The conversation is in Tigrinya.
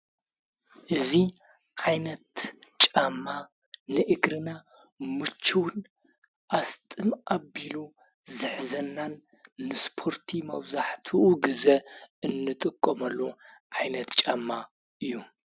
እዙ ዓይነት ጫማ ንእግርና ምችውን ኣስጥም ኣቢሉ ዘኅዘናን ንስጶርቲ መውዛሕት ግዘ እንጥቆመሉ ዓይነት ጫማ እዩ።